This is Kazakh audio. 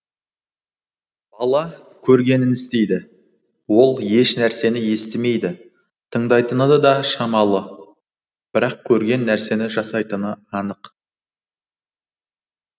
бала көргенін істейді ол ешнәрсені естімейді тыңдайтыны да шамалы бірақ көрген нәрсені жасайтыны анық